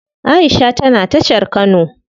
Aisha tana tashar kano.